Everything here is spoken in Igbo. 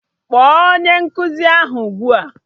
Kpọọ onye nkụzi ahụ ugbua!